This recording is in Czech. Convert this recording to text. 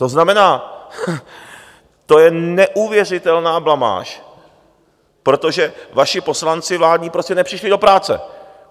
To znamená, to je neuvěřitelná blamáž, protože vaši poslanci vládní prostě nepřišli do práce.